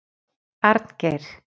Arngeir